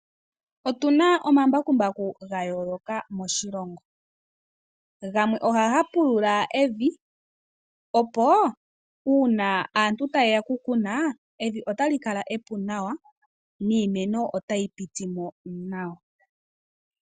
Otu na omambakumbaku ga yooloka moshilongo. Gamwe ohaga pulula evi, opo uuna aantu taye ya okukuna evi otali kala epu nawa niimeno otayi piti mo nawa.